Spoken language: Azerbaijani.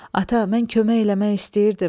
Ata, mən kömək eləmək istəyirdim.